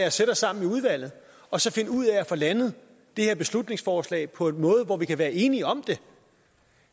os sammen i udvalget og så finde ud af at få landet det her beslutningsforslag på en måde hvor vi kan være enige om det